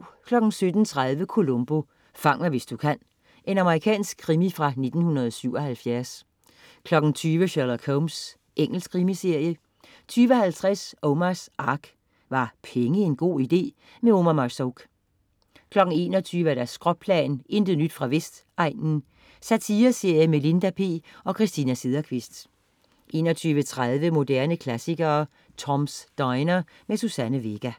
17.30 Columbo: Fang mig hvis du kan. Amerikansk krimi fra 1977 20.00 Sherlock Holmes. Engelsk krimiserie 20.50 Omars Ark. Var penge en god idé? Omar Marzouk 21.00 Skråplan, intet nyt fra Vestegnen. Satireserie med Linda P og Christina Sederqvist 21.30 Moderne klassikere: Tom's Diner. Suzanne Vega